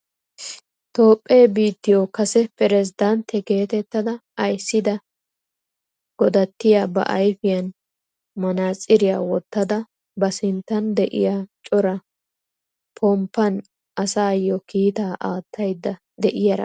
Toophphee biittiyoo kase peredentte getettada ayssida dogattiyaa ba ayfiyaan manaatsiriyaa wottada ba sinttan de'iyaa cora ponppaan asayoo kiitaa aattayda de'iyaara beettawus.